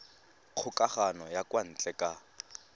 kgokagano ya kwa ntle ka